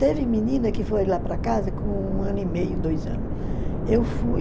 Teve menina que foi lá para casa com um ano e meio, dois ano. Eu fui